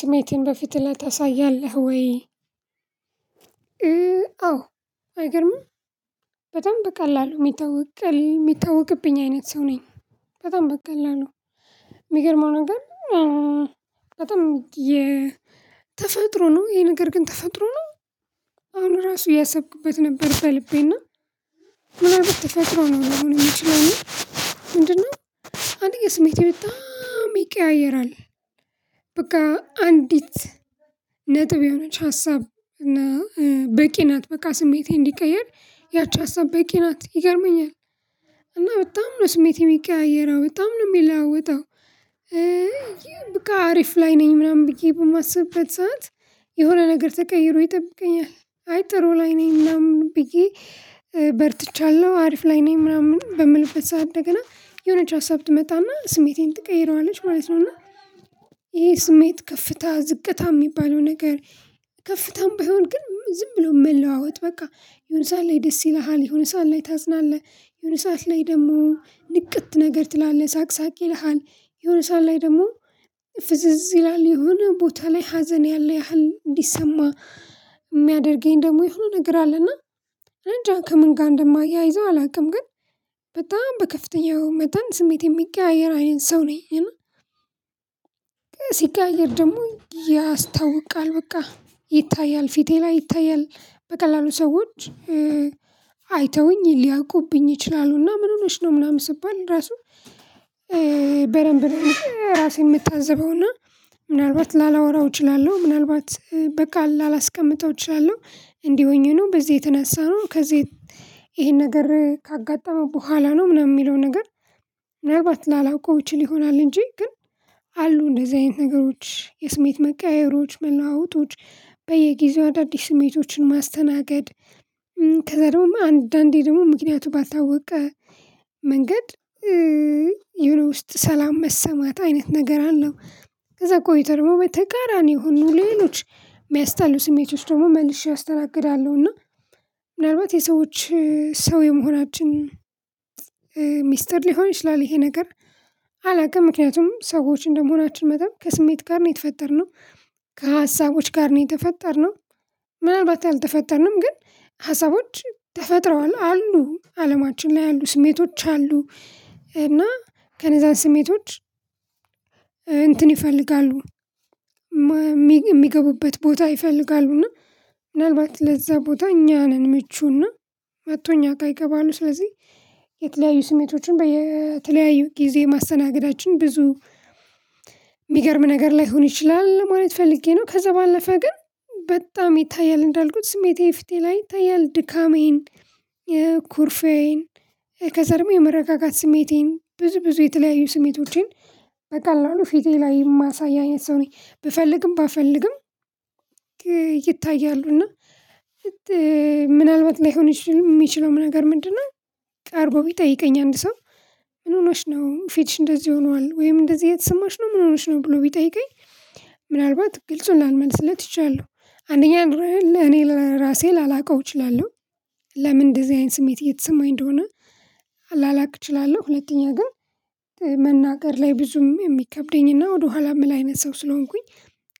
ስሜቴን በፊት ላይ ታሳያለህ ወይ? አዎ አይገርምም በጣም በቀላሉ የሚታወቅ የሚታወቅብኝ አይነት ሰው ነኝ። በጣም በቀላሉ የሚገርመው ነገር። በጣም የ ተፈጥሮ ነው ይሄ ነገር ግን ተፈጥሮ ነው። አሁን ራሱ እያሰብኩበት ነበር በልቤና ምናልባት ተፈጥሮ ነው ሊሆን የሚችለው የምንችለው ምንድነው? አንደኛ የስሜቴ ቤት ይቀያየራል። በቃ አንዲት ነጥብ የሆነች ሀሳብ እና በቂ ናት በቃ ስሜቴ እንዲቀየር ያቺ ሀሳብ በቂ ናት ይገርመኛል። እና በጣም ነው ስሜቴ የሚቀያየረው በጣም ነው የሚለውጠው። እይ በቃ አሪፍ ላይ ነኝ ምናምን ብዬ በማስብበት ሰዓት የሆነ ነገር ተቀይሮ ይጠብቀኛል። አይ ጥሩ ላይ ነኝ ምናምን ብዬ በርትቻለሁ። አሪፍ ላይ ነኝ ምናምን በምልበት ሰዓት እንደገና የሆነች ሀሳብ ትመጣና ስሜቴን ትቀይረዋለች ማለት ነው። እና ይሄ ስሜት ከፍታ ዝቅታ የሚባለው ነገር። ከፍታም ባይሆን ግን ዝም ብሎ መለዋወጥ በቃ ይሁን ሳለ ደስ ይልሃል የሆነ ሰዓት ላይ ታዝናለህ። የሆነ ሰዓት ላይ ደግሞ ንቅት ነገር ትላለህ ሳቅ ሳቅ ይልሃል የሆነ ሰዓት ላይ ደግሞ። ፍዝዝ ይላል የሆነ ቦታ ላይ ሀዘን ያለ ያህል እንዲሰማ የሚያደርገኝ ደግሞ ይሁን ነገር አለና። እንጃ ከምን ጋር እንደማያይዘው አላውቅም። ግን በጣም በከፍተኛው መጠን ስሜት የሚቀያየር አይነት ሰው ነኝ። እና ሲቀያየር ደግሞ ያስታውቃል በቃ ይታያል ፊቴ ላይ ይታያል በቀላሉ ሰዎች አይተውኝ ሊያውቁብኝ ይችላሉና። ምን ሆነሽ ነው ምናምን ስባል ራሱ። በደንብ ራሴን የምታዘበውና ምናልባት ላላወራው እችላለሁ ምናልባት በቃ ላላስቀምጠው እችላለሁ እንዲህ ሆኜ ነው። በዚህ የተነሳነው ከዚህ ይሄን ነገር ካጋጠመው በኋላ ነው ምናምን የሚለው ነገር። ምናልባት ላላውቀው ይችል ይሆናል እንጂ ግን። አሉ እንደዚህ አይነት ነገሮች የስሜት መቃየሮች መለዋወጦች በየጊዜው አዳዲስ ስሜቶችን ማስተናገድ። ከዛ ደግሞ አንዳንዴ ደግሞ ምክንያቱ ባታወቀ መንገድ የሆነ ውስጥ ሰላም መሰማት አይነት ነገር አለው። ከዛ ቆይቶ ደግሞ በተቃራኒ የሆኑ ሌሎች የሚያስጠሉ ስሜቶች ደግሞ መልሼ አስተናግዳለሁ። እና ምናልባት የሰዎች ሰው የመሆናችን ሚስጥር ሊሆን ይችላል። ይሄ ነገር አላውቅም ምክንያቱም ሰዎች እንደመሆናችን መጠን ከስሜት ጋር ነው የተፈጠርነው። ከሀሳቦች ጋር ነው የተፈጠርነው ምናልባት አልተፈጠርንም ግን ሀሳቦች ተፈጥረዋል አሉ አለማችን ላይ አሉ ስሜቶች አሉ። እና ከነዛን ስሜቶች እንትን ይፈልጋሉ። የሚገቡበት ቦታ ይፈልጋሉ እና ምናልባት ለዛ ቦታ እኛ ነን ምቹና መቶ እኛጋ ይገባሉ። ስለዚህ የተለያዩ ስሜቶችን በተለያዩ ጊዜ ማስተናገዳችን ብዙ የሚገርም ነገር ላይሆን ይችላል ማለት ፈልጌ ነው። ከዛ ባለፈ ግን በጣም ይታያል እንዳልኩት ስሜቴ ፊቴ ላይ ይታያል። ድካሜን ኩርፌዬን ከዚያ ደግሞ የመረጋጋት ስሜቴን ብዙ ብዙ የተለያዩ ስሜቶቼን በቀላሉ ፊቴ ላይ የማሳይ ሰው አይነት ሰው ነኝ። ብፈልግም ባልፈልግም ይታያሉ እና። ምናልባት ላይሆን የሚችለው ነገር ምንድነው? ቀርቦ ቢጠይቀኝ አንድ ሰው ምን ሆነሽ ነው ፊትሽ እንደዚህ ሆነዋል ወይም እንደዚህ እየተሰማሽ ነው ምን ሆነሽ ነው ብሎ ቢጠይቀኝ? ምናልባት ግልጹን ላልመልስለት ትቻለው አንደኛ እኔ ራሴ ላላውቀው እችላለሁ። ለምን እንደዚህ አይነት ስሜት እየተሰማኝ እንደሆነ። ላላቅ እችላለሁ። ሁለተኛ ግን መናገር ላይ ብዙም የሚከብደኝና ወደኋላ ምን አይነት ሰው ስለሆንኩኝ።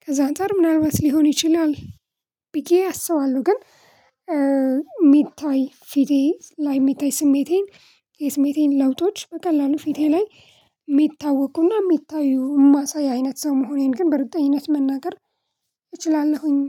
ከዛ አንፃር ምናልባት ሊሆን ይችላል ብዬ አስባለሁ ግን። ሚታይ ፊቴ ላይ ሚታይ ስሜቴን የስሜቴን ለውጦች በቀላሉ ፊቴ ላይ የሚታወቁና የሚታዩ ማሳይ አይነት ሰው መሆኔን ግን በርግጠኝነት መናገር እችላለሁኝ።